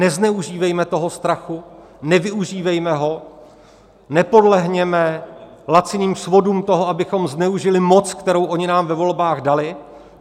Nezneužívejme toho strachu, nevyužívejme ho, nepodlehněme laciným svodům toho, abychom zneužili moc, kterou oni nám ve volbách dali.